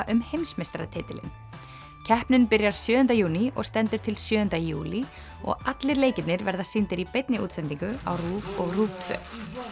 um heimsmeistaratitilinn keppnin byrjar sjöunda júní og stendur til sjöunda júlí og allir leikirnir verða sýndir í beinni útsendingu á RÚV og RÚV tvö